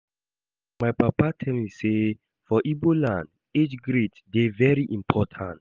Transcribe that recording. My papa tell sey for Igbo land, age grade dey very important.